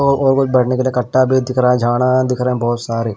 बैठने के लिए कट्टा भी दिख रहा है झाड़ा दिख रहे हैं बहुत सारे--